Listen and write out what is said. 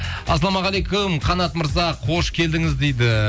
ассалаумағалейкум қанат мырза қош келдіңіз дейді